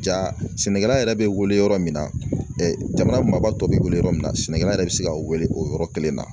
Ja sɛnɛkɛla yɛrɛ bɛ wele yɔrɔ min na jamana maba tɔ bɛ wele yɔrɔ min na sɛnɛkɛla yɛrɛ bɛ se ka wele o yɔrɔ kelen na